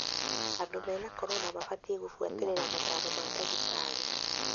Andũ mena corona mabatie gũbuatĩrira motaro ma ndagĩtari.